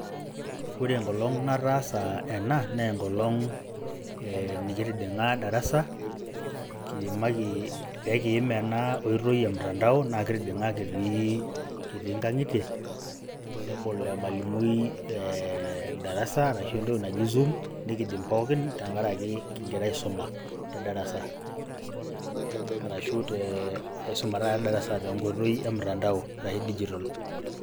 Ore enkolong' nataasa ena naa enkolong' ee nikitijing'a darasa kiimaki pekiim ina oitoi e mtandao, naa kitijing'a kitii kitii nkang'itie nebol emalimui ee darasa, arashu entoki naji zoom nekijing' pookin tenkaraki king'ira aisoma te darasa arashu tee aisuma taata te darasa te nkoitoi e mtandao arashe dijital.